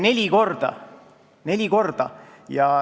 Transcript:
Neli korda!